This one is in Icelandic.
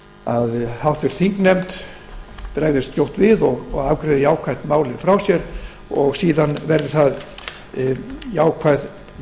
að háttvirtur þingnefnd bregðist skjótt við og afgreiði málið jákvætt frá sér og enn fremur vonast ég eftir jákvæðum